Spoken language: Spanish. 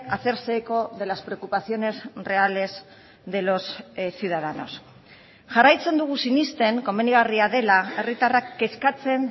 hacerse eco de las preocupaciones reales de los ciudadanos jarraitzen dugu sinesten komenigarria dela herritarrak kezkatzen